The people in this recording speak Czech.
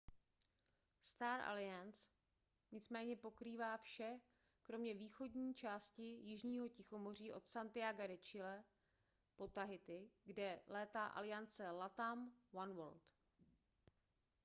star alliance nicméně pokrývá vše kromě východní části jižního tichomoří od santiaga de chile po tahiti kde létá aliance latam oneworld